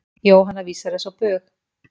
Jóhanna vísar þessu á bug.